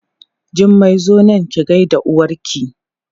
Jummai zo nan ki gaida uwarki!